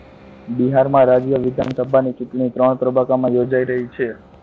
બિહારમાં રાજ્ય વિધાનસભાની ચુંટણી ત્રણ તબક્કામાં યોજાઈ રહી છે.